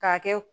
K'a kɛ